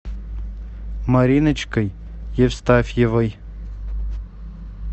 мариночкой евстафьевой